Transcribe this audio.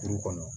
Kuru kɔnɔ